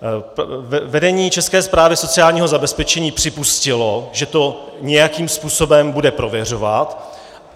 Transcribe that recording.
Vedení České správy sociálního zabezpečení připustilo, že to nějakým způsobem bude prověřovat.